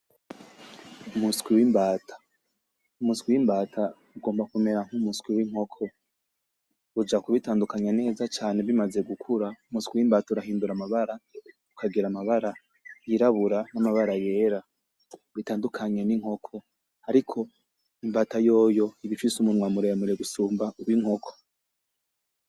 Umuswi w’imbata, umuswi w’imbata ugomba kumera nk’umuswi w’inkoko. Uja kubitandukanya neza cane bimaze gukura, umuswi w’imbata urahindura amabara ukagira amabara yirabura n'amabara yera bitandukanye n’inkoko. Ariko imbata yoyo iba ifise umunwa muremure gusumba uw’inkoko